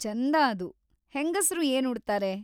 ಚೆಂದ ಅದು. ಹೆಂಗಸ್ರು ಏನ್‌ ಉಡ್ತಾರೆ?